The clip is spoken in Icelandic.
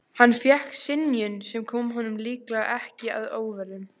Hann fékk synjun, sem kom honum líklega ekki að óvörum.